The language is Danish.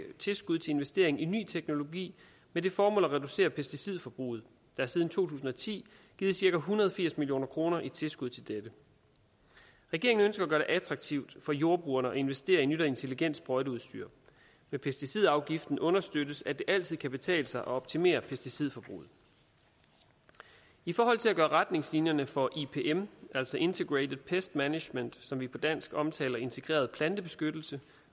tilskud til investering i ny teknologi med det formål at reducere pesticidforbruget der er siden to tusind og ti givet cirka en hundrede og firs million kroner i tilskud til dette regeringen ønsker at gøre det attraktivt for jordbrugerne at investere i nyt og intelligent sprøjteudstyr med pesticidafgiften understøttes det at det altid kan betale sig at optimere pesticidforbruget i forhold til at gøre retningslinjerne for ipm altså integrated pest management som vi på dansk omtaler som integreret plantebeskyttelse